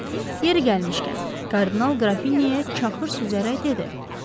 Yeri gəlmişkən, kardinal Qrafinyaya çaxır süzərək dedi: